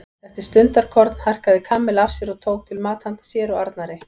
Eftir stundarkorn harkaði Kamilla af sér og tók til mat handa sér og Arnari.